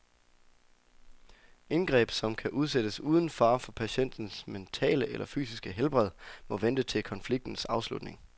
Indgreb, som kan udsættes uden fare for patientens mentale eller fysiske helbred, må vente til konfliktens afslutning.